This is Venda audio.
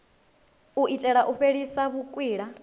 u itela u fhelisa vhukwila